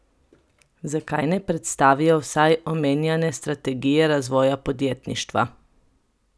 Zakaj ne predstavijo vsaj omenjane strategije razvoja podjetništva?